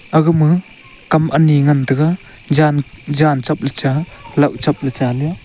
agama kam ani ngan tega jan jan cheple cha law cheple cha le a.